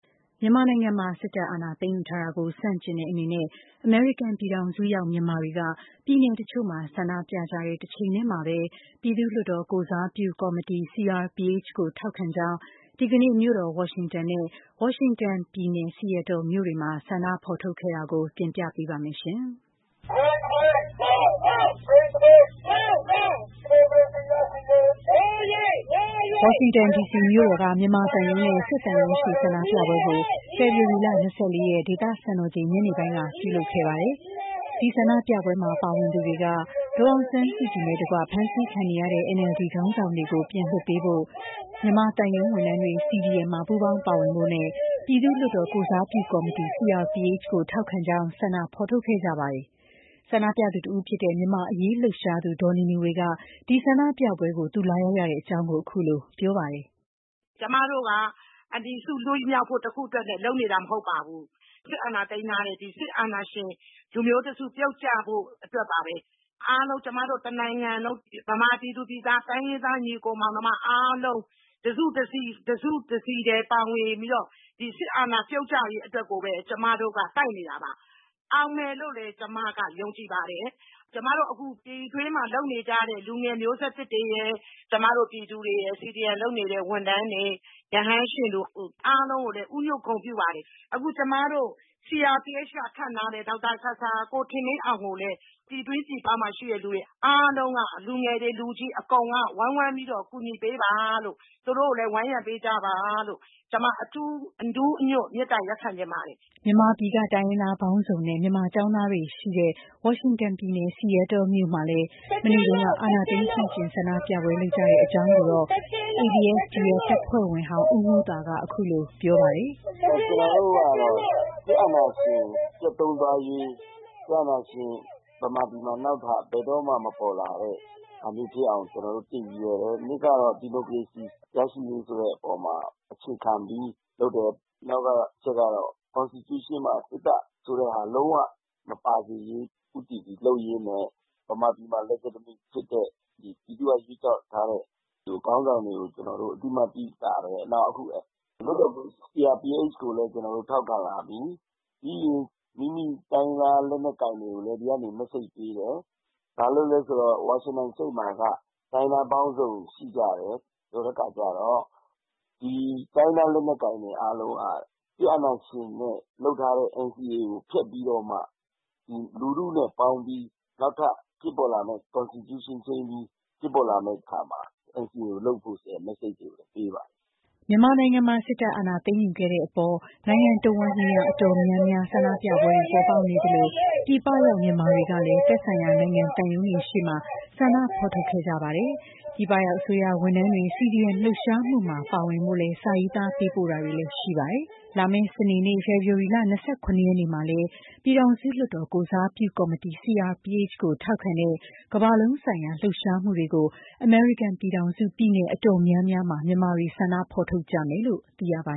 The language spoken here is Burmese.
မြန်မာနိုင်ငံမှာ စစ်တပ်က အာဏာသိမ်းယူထားတာကို ဆန့်ကျင်တဲ့အနေနဲ့ အမေရိကန်ပြည်ထောင်စုရောက် မြန်မာတွေက ပြည်နယ်တချို့မှာ ဆန္ဒကြတဲ့ တချိန်ထဲမှာပဲ ပြည်သူ့လွှတ်တော်ကိုယ်စားပြုကော်မတီ CRPH ကို ထောက်ခံကြောင်း ဒီကနေ့မြို့တော်ဝါရှင်တန် နဲ့ ဝါရှင်တန်ပြည်နယ် Seattle မြို့တွေမှာ ဆန္ဒထုတ်ဖေါ်ခဲ့ကြပါတယ်။ ဒီအကြောင်း မမြသဇင်အောင်က ပြောပြမှာပါ။ ဝါရှင်တန်ဒီစီမြို့တော်က မြန်မာသံရုံးနဲ့ စစ်သံရုံးရှေ့ ဆန္ဒပြပွဲကို ဖေဖေါ်ဝါရီ ၂၄ ရက် ဒေသစံတော်ချိန် ညနေပိုင်းက ပြုလုပ်ခဲ့ကြပါတယ်။ ဒီဆန္ဒပြပွဲမှာ ပါဝင်သူတွေက ဒေါ်အောင်ဆန်းစုကြည်နဲ့ တကွ ဖမ်းဆီးခံနေရတဲ့ NLD ခေါင်းဆောင်တွေကို ပြန်လွှတ်ပေးဖို့၊ မြန်မာသံရုံးဝန်ထမ်းတွေ CDM မှာ ပူးပေါင်းပါဝင်ဖို့နဲ့ ပြည်သူ့လွှတ်တော်ကိုယ်စားပြုကော်မတီ CRPH ကို ထောက်ခံကြောင်း ဆန္ဒဖော်ထုတ်ခဲ့ကြပါတယ်။ ဆန္ဒပြသူတဦးဖြစ်တဲ့ မြန်မာ့အရေးလှုပ်ရှားသူ ဒေါ်နီနီဝေက ဒီဆန္ဒပြပွဲကို လာရောက်ရတဲ့ အကြောင်း အခုလို ပြောပါတယ်။ “ ကျွန်မတို့က အန်တီစု လွတ်မြောက်ဖို့ တခုထဲအတွက်လုပ်နေတာမဟုတ်ပါဘူး။ စစ်အာဏာသိမ်းထားတဲ့ ဒီစစ်အာဏာရှင်လူမျိုး တစုပြုတ်ကျဖို့ အတွက်ပါပဲ။ အားလုံးကျွန်မတို့ တစ်နိုင်ငံလုံး မြန်မာပြည်သူပြည်သားတိုင်းရင်းသား ညီအကိုမောင်နှမအားလုံး တစုတစည်းထဲ ပါဝင်ပြီးတော့ ဒီစစ်အာဏာပြုတ်ကျရေးအတွက်ကိုပဲ ကျွန်မတို့ ကတိုက်နေတာပါ။ အောင်မယ် လို့လည်း ကျွန်မကယုံကြည်ပါတယ်။ ကျွန်မတို့ အခုပြည်တွင်းမှာ လုပ်နေကြတဲ့ လူငယ်မျိုးဆက်သစ်တွေရယ်၊ ကျွန်မတို့ ပြည်သူတွေရယ်၊ CDM လုပ်နေတဲ့ ဝန်ထမ်းတွေ၊ ရဟန်းရှင်လူအားလုံးကိုလည်း ဦးညွှတ် ဂုဏ်ပြုပါတယ်။ အခုကျွန်မတို့ CRPH ကခန့်ထားတဲ့ ဒေါက်တာဆာဆာ၊ ကို ထင်လင်းအောင်ကိုလည်း ပြည်တွင်း၊ ပြည်ပမှာရှိတဲ့ လူတွေအားလုံးက လူငယ်တွေ၊ လူကြီး အကုန်က ဝိုင်းဝန်း ပြီးတော့ ကူညီပေးပါလို့ သူတို့ကိုလည်း ဝန်းရံပေးကြပါလို့ ကျွန်မ အနူးအညွတ်မေတ္တာရပ်ခံချင်ပါတယ်။” မြန်မာပြည်က တိုင်းရင်းသားပေါင်းစုံနဲ့ မြန်မာကျောင်းသားတွေရှိတဲ့ ဝါရှင်တန်ပြည်နယ် Seattle မြို့မှာလည်း မနေ့တုန်းက အာဏာသိမ်း ဆန့်ကျင်ဆန္ဒပြပွဲ လုပ်ကြတဲ့အကြောင်းကိုတော့ ABSDF တပ်ဖွဲ့ဝင်ဟောင်း ဦးမှူးသာက ခုလို ပြောပါတယ်။ “ကျွန်တော်တို့ကတော့ စစ်အာဏာရှင်ပျက်သုဉ်းသွားရေး စစ်အာဏာရှင်နောက်ထပ် မြန်မာပြည်မှာ နောက်ထပ်ဘယ်တော့မှ မပေါ်လာတဲ့ ဟာမျိုးဖြစ်အောင် တစ် ကျွန်တော်တို့ ရည်ရွယ်တယ်။ ၂ ကတော့ ဒီမိုကရေစီရရှိရေးဆိုတဲ့ အပေါ်မှာ အခြေခံပြီးလုပ်တယ်။ နောက်တချက်ကတော့ ကွန်စတီကျုးရှင်းမှာ စစ်တပ်ဆိုတာ လုံးဝမပါစေရေး ဦးတည်ပြီးလုပ်ရင်းနဲ့ မြန်မာပြည်မှာ legitimate ဖြစ်တဲ့ ပြည်သူကရွေးကောက်ထားတဲ့ ခေါင်းဆောင်တွေကို ကျွန်တော်တို့ အသိအမှတ်ပြု ထားတယ်။ နောက် အခု CRPH ကိုလည်း ကျွန်တော်တို့ ထောက်ခံလာပြီ။ ပြီးရင် မိမိတိုင်းရင်းသား လက်နက်ကိုင်တွေကိုလည်း ဒီကနေ မက်ဆေ့ပေးတယ်။ ဘာလို့လည်း ဆိုတော့ ဝါရှင်တန်စတိတ်မှာက တိုင်းရင်းသားပေါင်းစုံရှိကြတယ်။ ဆိုတဲ့ အခါကျတော့ ဒီတိုင်းရင်းသား လက်နက်ကိုင်တွေအားလုံးက စစ်အာဏာရှင်နဲ့ ချုပ်ထားတဲ့ NCA ကို ဖျက်ပြီး တော့မှ လူထုနဲ့ ပေါင်း ပြီး နောက်ထပ် ဖြစ်ပေါ်လာမယ့် ကွန်စတီကျုးရှင်း ဖြစ်ပေါ်လာတဲ့ အခါမှာ နောက်ထပ် NCA ကိုလုပ်ဖို့ ဆိုတဲ့ မက်ဆေ့တွေကိုလည်း ပေးပါတယ်။” မြန်မာနိုင်ငံမှာ စစ်တပ်ကအာဏာသိမ်းယူခဲ့တဲ့ အပေါ် နိုင်ငံတဝှမ်းနေရာအတော်များများ ဆန္ဒပြပွဲတွေပေါ်ပေါက်နေသလို ပြည်ပရောက် မြန်မာတွေကလည်း သက်ဆိုင်ရာ နိုင်ငံသံရုံးရှေ့တွေမှာ ဆန္ဒဖော်ထုတ်ခဲ့ကြပါတယ်။ ပြည်ပရောက် အစိုးရဝန်ထမ်းတွေ CDM လှုပ်ရှားမှုမှာ ပါဝင်ကြဖို့ စာရေးသားပေးပို့တာတွေလည်းရှိပါတယ်။ ခုလာမယ့် စနေနေ့ ဖေဖေါ်ဝါရီ (၂၇)ရက်နေ့မှာလည်း ပြည်ထောင်စုလွှတ်တော် ကိုယ်စားပြုကော်မတီ CRPH ကိုထောက်ခံတဲ့ ကမ္ဘာလုံးဆိုင်ရာ လှုပ်ရှားမှုတွေကို အမေရိကန်ပြည်ထောင်စု ပြည်နယ်အတော်များများမှာ မြန်မာတွေ ဆန္ဒထုတ်ဖေါ်ကြမယ်လို့ သိရပါ